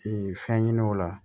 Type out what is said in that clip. fɛn ɲini o la